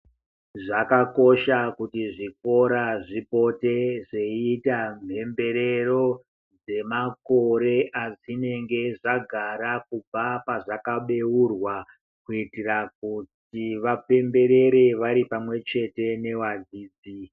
Zvakakosha kuti zvikora zvipote zveiita mhemberero yemakore azvinenge zvagara kubva pazvakabeurwa kuitira kuti vapemberere vari pamwe chete nevadzidzi.